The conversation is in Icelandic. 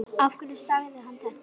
Af hverju sagði hann þetta?